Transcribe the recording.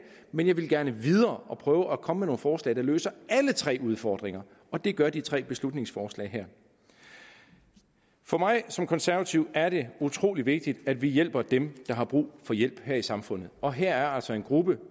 men jeg ville gerne videre og prøve at komme forslag der løser alle tre udfordringer og det gør de tre beslutningsforslag her for mig som konservativ er det utrolig vigtigt at vi hjælper dem der har brug for hjælp her i samfundet og her er altså en gruppe